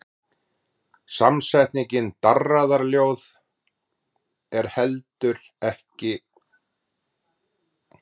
Samsetningin darraðarljóð er ekki heldur gömul.